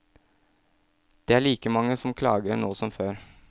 Det er like mange som klager nå som før.